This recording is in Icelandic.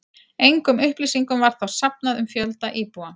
Engum upplýsingum var þá safnað um fjölda íbúa.